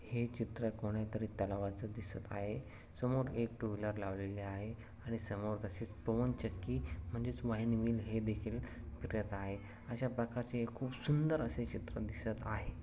हे चित्र कोणीतरी तलावाच दिसत आहे समोर एक टूव्हीलर लावलेली आहे आणि तसेच समोर पवन चक्की म्हणजेच वाईण्डमिल हे देखील फिरत आहे अशा प्रकारचे खूप सुंदर असे चित्र दिसत आहे.